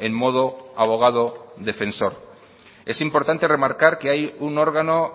en modo abogado defensor es importante remarcar que hay un órgano